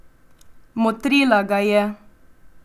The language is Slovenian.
Motrila ga je.